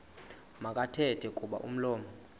makathethe kuba umlomo